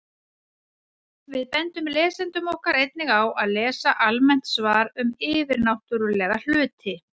Við bendum lesendum okkar einnig á að lesa almennt svar um yfirnáttúrulega hluti.